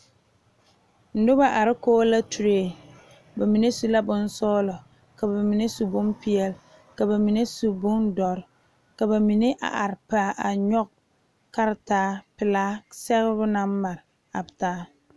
Noba are kɔŋ la track su kpare sɔglɔ ka bamine su bonpeɛle ka bamine bondoɔre a nyoŋ karetara sɛgebo naŋ mare.